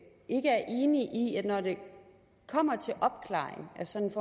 når det kommer til opklaring af sådan